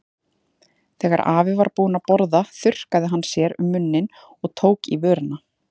Þegar afi var búinn að borða þurrkaði hann sér um munninn og tók í vörina.